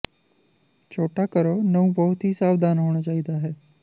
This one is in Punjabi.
ਛੋਟਾ ਕਰੋ ਨਹੁੰ ਬਹੁਤ ਹੀ ਸਾਵਧਾਨ ਹੋਣਾ ਚਾਹੀਦਾ ਹੈ